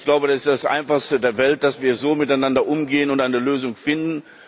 Und ich glaube, das ist das einfachste auf der Welt, dass wir so miteinander umgehen und eine Lösung finden.